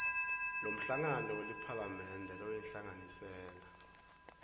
lomhlangano weliphalamende loyinhlanganisela